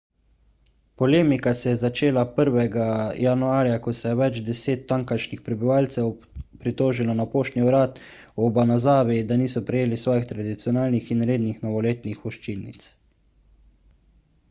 polemika se je začela 1 januarja ko se je več deset tamkajšnjih prebivalcev pritožilo na poštni urad v obanazawi da niso prejeli svojih tradicionalnih in rednih novoletnih voščilnic